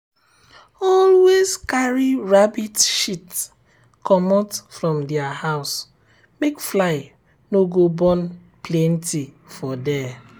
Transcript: always carry rabbit shit um um comot from their house make fly no go born um plenty for there.